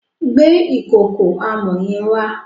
Gbe ìkòkò amọ̀ yẹn wá.